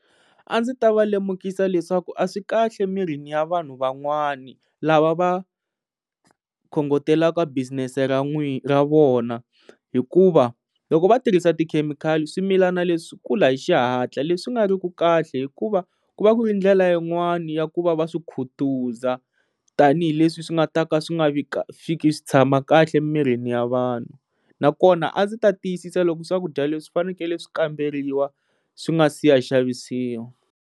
A ndzi ta va lemukisa leswaku a swi kahle emirini ya vanhu van'wani lava va khongotelaka business-e ra n'wina ra vona hikuva loko va tirhisa tikhemikhali swimilana leswi swi kula hi xihatla leswi nga ri ki kahle hikuva ku va ku i ndlela yin'wani ya ku va va swi khutaza tanihileswi swi nga ta ka swi nga vi ka fiki swi tshama kahle emirini ya vanhu na kona a ndzi ta tiyisisa leswaku swakudya leswi fanekele swi kamberiwa swi nga si ya xavisiwa.